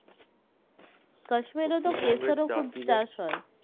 Kashmir রে তো কেসারো খুব চাষ হয়